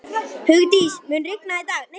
Hugdís, mun rigna í dag?